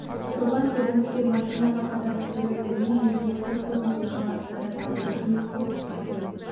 шопан тебініп кеп машинаға қатарласа берді мен еңкейіп көк қозыны қойшыға ұстата салдым рақмет көп рақмет